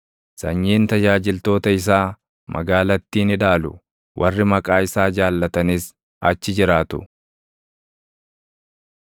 Sanyiin tajaajiltoota isaa magaalattii ni dhaalu; warri maqaa isaa jaallatanis achi jiraatu.